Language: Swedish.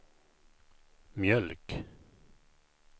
mjölk